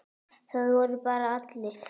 Það voru bara allir.